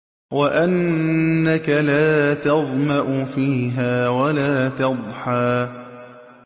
وَأَنَّكَ لَا تَظْمَأُ فِيهَا وَلَا تَضْحَىٰ